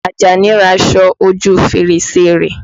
Àjàní ya aṣọ ojú fèrèsé rẹ̀.